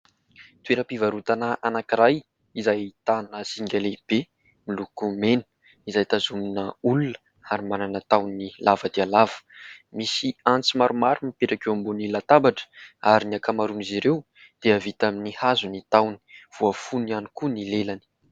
Toeram-pivarotana anankiray izay ahitana zinga lehibe miloko mena izay tazomina olona ary manana tahony lava dia lava. Misy antsy maromaro mipetraka eo ambonin'ny latabatra ary ny akamaroan'izy ireo dia vita amin'ny hazo ny tahony, voafono ihany koa ny lelany.